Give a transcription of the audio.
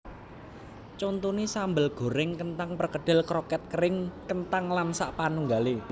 Contoné sambel gorèng kenthang perkedel kroket kering kenthang lan sapanunggalé